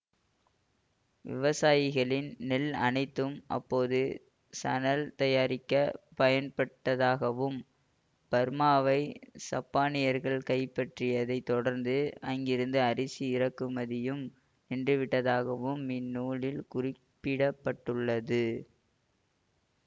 விவசாயிகளின் நெல் அனைத்தும் அப்போது சணல் தயாரிக்க பயன்பட்டதாகவும் பர்மாவை சப்பானியர்கள் கைப்பற்றியதைத் தொடர்ந்து அங்கிருந்து அரிசி இறக்குமதியும் நின்றுவிட்டதாகவும் இந்நூலில் குறிப்பிட பட்டுள்ளது